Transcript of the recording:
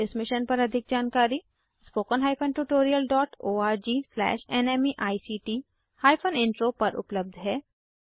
इस मिशन पर अधिक जानकारी httpspoken tutorialorgNMEICT Intro पर उपलब्ध है